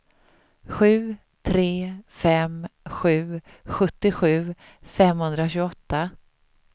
sju tre fem sju sjuttiosju femhundratjugoåtta